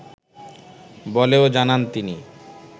বলেও জানান তিনি